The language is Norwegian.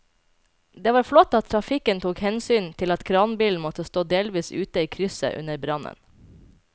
Det var flott at trafikken tok hensyn til at kranbilen måtte stå delvis ute i krysset under brannen.